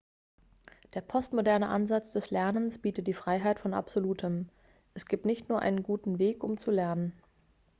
der postmoderne ansatz des lernens bietet die freiheit von absolutem es gibt nicht nur einen guten weg um zu lernen